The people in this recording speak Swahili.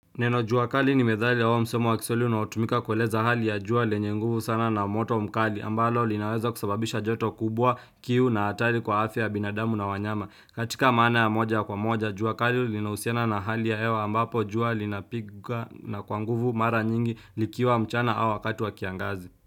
Neno jua kali ni methali au msemo wa kiswahili inaotumika kueleza hali ya jua lenye nguvu sana na moto mkali ambalo linaweza kusababisha joto kubwa kiu na hatari kwa afya binadamu na wanyama katika maana ya moja kwa moja jua kali linausiana na hali ya hewa ambapo jua linapiga na kwa nguvu mara nyingi likiwa mchana au wakati wa kiangazi.